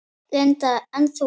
Linda: En þú?